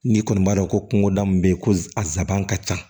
N'i kɔni b'a dɔn ko kungoda min bɛ yen ko a sabanan ka ca